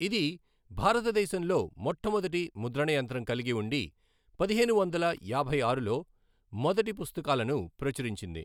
ఇది భారతదేశంలో మొట్టమొదటి ముద్రణయంత్రం కలిగి ఉండి పదిహేను వందల యాభై ఆరులో మొదటి పుస్తకాలను ప్రచురించింది.